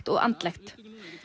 og andlegt